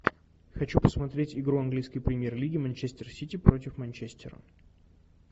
хочу посмотреть игру английской премьер лиги манчестер сити против манчестера